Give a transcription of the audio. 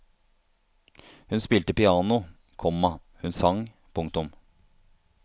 Hun spilte piano, komma hun sang. punktum